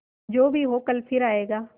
जो भी हो कल फिर आएगा